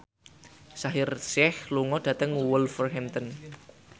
Shaheer Sheikh lunga dhateng Wolverhampton